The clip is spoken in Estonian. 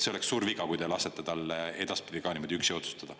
See oleks suur viga, kui te lasete tal edaspidi ka niimoodi üksi otsustada.